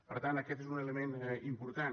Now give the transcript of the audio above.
per tant aquest és un element important